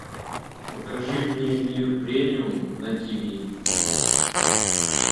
покажи мне мир премиум на тв